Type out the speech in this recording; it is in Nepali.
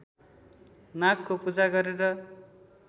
नागको पूजा गरेर